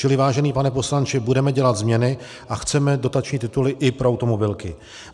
Čili vážený pane poslanče, budeme dělat změny a chceme dotační tituly i pro automobilky.